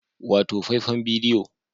Wato faifan bidiyo